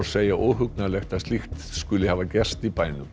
segja óhugnalegt að slíkt hafi gerst í bænum